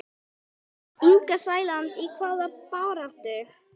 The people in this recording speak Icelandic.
Inga Sæland: Í hvaða baráttu?